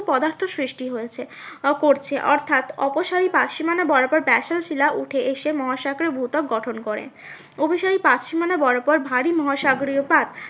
পদার্থ সৃষ্টি হয়েছে। আহ করছে অর্থাৎ অপসারি পারসীমানা বরাবর ব্যাসল্ট শিলা উঠে এসে মহাসাগরে ভূত্বক গঠন করে। অভিসারী পাতসীমানা বরাবর ভারী মহাসাগরীয় পাত